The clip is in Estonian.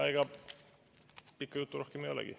Ega pikka juttu rohkem ei olegi.